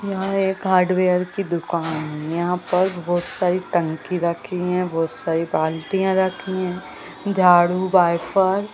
यहां एक हार्डवेयर की दुकान है यहां पर बहोत सारी टंकी रखी है बहोत सारी बाल्टियां रखी है झाड़ू वाइपर --